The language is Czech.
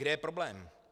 Kde je problém?